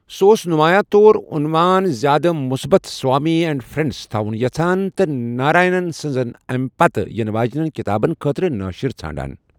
سہُ اوس نُمایاں طور عنوان زیادٕ مُثبت سوامی اینٛڈ فرٚنڈس تھاوُن یژھان ،تہٕ ناراینن سٕنزن امہِ پتہٕ یِنہٕ واجِنین کِتابن خٲطرٕ نٲشِر ژھانڈان ۔